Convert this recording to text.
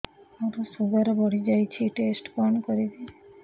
ମୋର ଶୁଗାର ବଢିଯାଇଛି ଟେଷ୍ଟ କଣ କରିବି